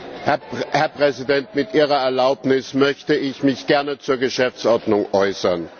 Herr Präsident! Mit Ihrer Erlaubnis möchte ich mich gerne zur Geschäftsordnung äußern.